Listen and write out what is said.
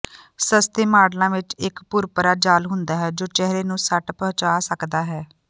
ਸਸਤੇ ਮਾਡਲਾਂ ਵਿਚ ਇਕ ਭੁਰਭੁਰਾ ਜਾਲ ਹੁੰਦਾ ਹੈ ਜੋ ਚਿਹਰੇ ਨੂੰ ਸੱਟ ਪਹੁੰਚਾ ਸਕਦਾ ਹੈ